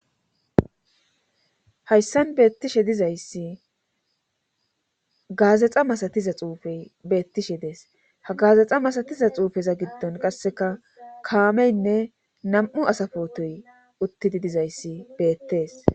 Hayssan beettishe dizayssi gaazaxa masatiza xuufey beettishe dees ha gaazaxa masatiza xuufeza giddon qasseka kaameynne nam7u asafotoy uttidi dizayssi beettees